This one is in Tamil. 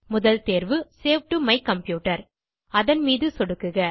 முதல் தேர்வு சேவ் டோ மை கம்ப்யூட்டர் அதன் மீது சொடுக்குக